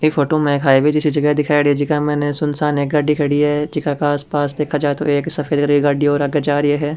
ई फोटो में एक हाईवे जैसी जगा दिखाएडी है जेका में सुनसान है एक गाड़ी खड़ी है जीका के आसपास देखा जाये तो एक सफ़ेद रंग की गाड़ी और आगे जा रही है।